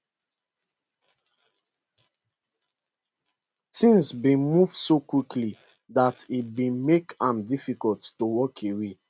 tins bin move so quickly dat e bin make am difficult to walk away